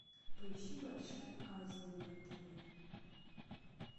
поищи большая азия на тв